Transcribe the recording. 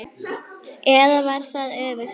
Eða var það öfugt?